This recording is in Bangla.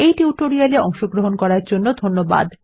এই টিউটোরিয়ালে অংশগ্রহন করার জন্য ধন্যবাদ